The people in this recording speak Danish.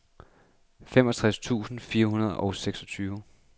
femogtres tusind fire hundrede og seksogtyve